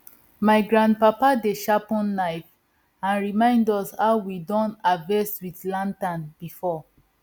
my grandpapa dey sharpen knife and remind us how we don harvest with lantern before